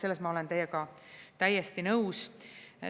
Selles ma olen teiega täiesti nõus.